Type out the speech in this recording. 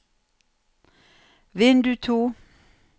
vindu to